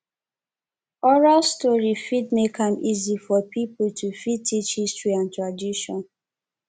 oral story fit make am easy for pipo to fit teach history and tradition